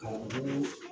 Ka olu